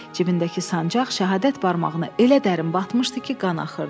Cibindəki sancaq şəhadət barmağına elə dərin batmışdı ki, qan axırdı.